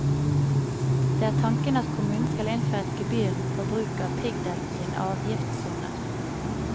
Det er tanken at kommunen kan innføre gebyr på bruk av piggdekk i en avgiftssone.